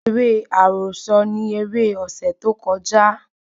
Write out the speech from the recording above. Eré àròsọ ni eré ọ̀sẹ̀ tó kọjá